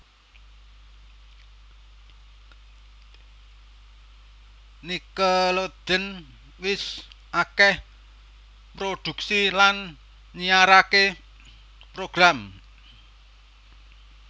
Nickelodeon wis akèh mproduksi lan nyiaraké program